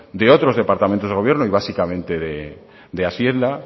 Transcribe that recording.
de otros departamentos de gobierno y básicamente de hacienda